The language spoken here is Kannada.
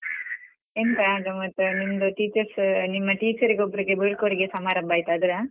ಎಂಥ ಗಮ್ಮತ್ ನಿಮ್ದು teachers ನಿಮ್ಮ teacher ರಿಗೆ ಒಬ್ರಿಗೆ ಬೀಳ್ಕೊಡುಗೆ ಸಮಾರಂಭ ಆಯ್ತ್ ಅದ.